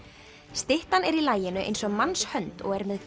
styttan er í laginu eins og mannshönd og er með